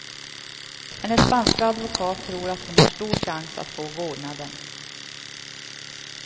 Hennes spanska advokat tror att hon har stor chans att få vårdnaden.